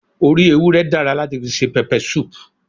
Orí ewúré dára láti fi se pepper soup